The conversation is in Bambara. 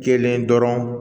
Kelen dɔrɔn